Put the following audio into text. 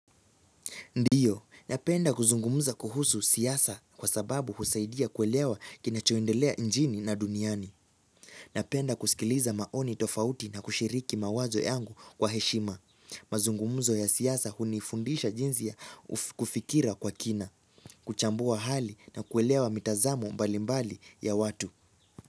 Ndiyo, napenda kuzungumza kuhusu siasa kwa sababu husaidia kuelewa kinachoendelea nchini na duniani. Napenda kusikiliza maoni tofauti na kushiriki mawazo yangu kwa heshima. Mazungumza ya siasa hunifundisha jinsia ya kufikiria kwa kina, kuchambua hali na kuelewa mitazamo mbalimbali ya watu.